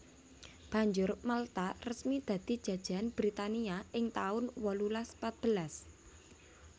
Banjur Malta resmi dadi jajahan Britania ing taun wolulas patbelas